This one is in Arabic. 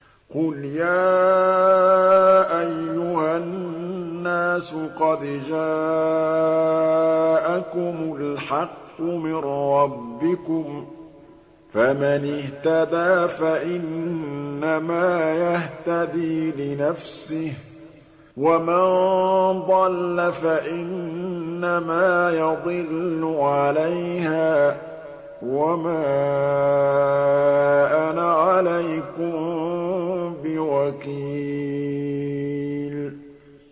قُلْ يَا أَيُّهَا النَّاسُ قَدْ جَاءَكُمُ الْحَقُّ مِن رَّبِّكُمْ ۖ فَمَنِ اهْتَدَىٰ فَإِنَّمَا يَهْتَدِي لِنَفْسِهِ ۖ وَمَن ضَلَّ فَإِنَّمَا يَضِلُّ عَلَيْهَا ۖ وَمَا أَنَا عَلَيْكُم بِوَكِيلٍ